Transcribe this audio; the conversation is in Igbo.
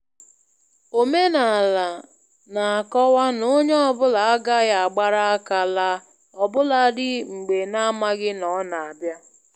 Omenala na-akọwa na ónyé ọ bụla agaghị agbara àkà laa ọ bụladị mgbe n'amaghị na ọ na -abịa.